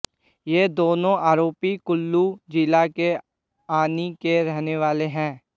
ये दोनों आरोपी कुल्लू जिला के आनी के रहने वाले हैं